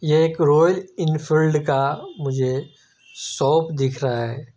ये एक Royal Enfield का मुझे शॉप दिख रहा है।